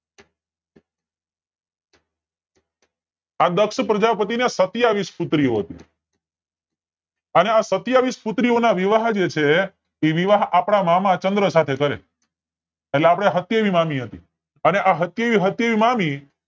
આ દક્ષ પ્રજાપતિ ને સત્વયાવીસ પુત્રીઓ હતી અને સત્યાવીસ પુત્રીઓ ના વિવાહ જે છે એ આપડા મામા ચન્દ્ર સાથે કરે એટલે આપડે સત્યાવી મામી હતી અને સત્યાવી સત્યાવી મામી